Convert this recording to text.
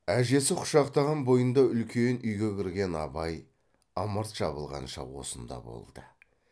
әжесі құшақтаған бойында үлкен үйге кірген абай ымырт жабылғанша осында болды